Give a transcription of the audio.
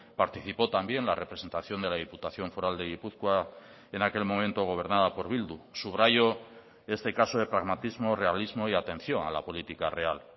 participó también la representación de la diputación foral de gipuzkoa en aquel momento gobernada por bildu subrayo este caso de pragmatismo realismo y atención a la política real